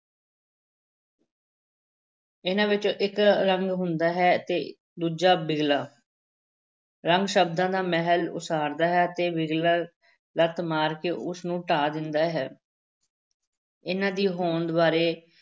ਇਹਨਾਂ ਵਿੱਚੋਂ ਇੱਕ ਰੰਗ ਹੁੰਦਾ ਹੈ ਤੇ ਦੂਜਾ ਬਿਗਲਾ ਰੰਗ ਸ਼ਬਦਾਂ ਦਾ ਮਹਿਲ ਉਸਾਰਦਾ ਹੈ ਅਤੇ ਬਿਗਲਾ ਲੱਤ ਮਾਰ ਕੇ ਉਸ ਨੂੰ ਢਾਹ ਦਿੰਦਾ ਹੈ ਇਹਨਾਂ ਦੀ ਹੋਂਦ ਬਾਰੇ